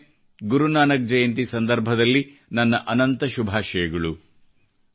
ಮತ್ತೊಮ್ಮೆ ಗುರುನಾನಕ್ ಜಯಂತಿ ಸಂದರ್ಭದಲ್ಲಿ ನನ್ನ ಅನಂತ ಶುಭಾಷಯಗಳು